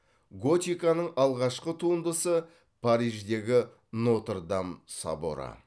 готиканың алғашқы туындысы париждегі нотр дам соборы